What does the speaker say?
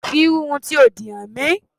Fi irú irun tí o dì hàn mí!